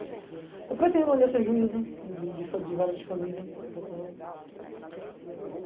Eu pretendo ainda ser juíza de de de vara de família, eu pretendo.